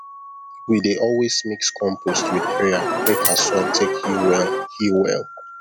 we dey always mix compost with prayer make our soil take heal well heal well